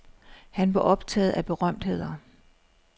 Han var optaget af berømtheder.